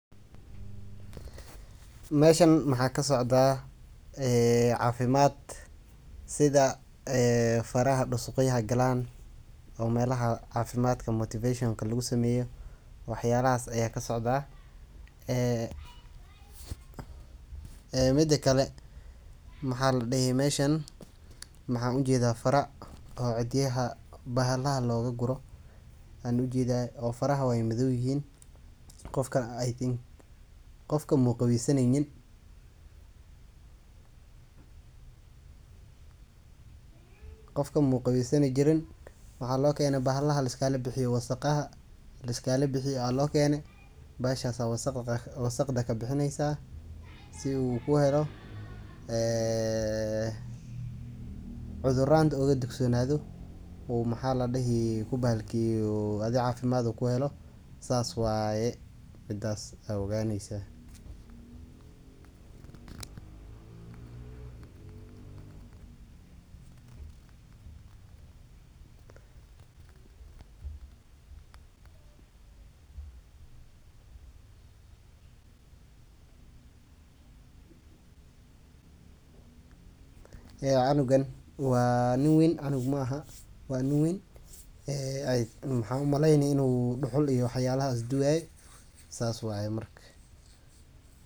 Meeshan maxa ka socda cafimad sidha; faraha dusugyadha galaan oo melaha cafimaadka motivation lagusameyo wax yalahas aya kasocda. Midakale maxaa ujeedha fara oo cidyaha bahala looga guro waxan ujedha faryaha way midhoy yihiin qofka I think qofka mu qaweysanaynin, waxa loo keene bahala laiskalabixiyo wasaqaha laiskalabixiyo aya loo keene bahashas wasaqda ka bixisa si u heelo cudharanta oga digsonado uu cafimaad u kuhelo sidhas waye midas aa oganeysa. Cunugaan waa nin wayn cunug mahaa waxa umaleyni inu duhul iyo wax yalahas duwaye saas waye marka.